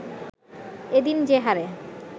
এ দিন যে হারে